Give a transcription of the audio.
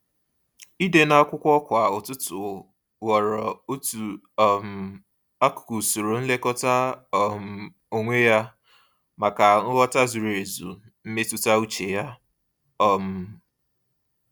Ịde n'akwụkwọ kwa ụtụtụ ghọrọ otu um akụkụ usoro nlekọta um onwe ya, maka nghọta zuru ezu mmetụta uche ya. um